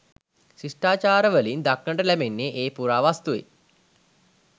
ශිෂ්ටාචාරවලින් දක්නට ලැබෙන්නේ ඒ පුරාවස්තුයි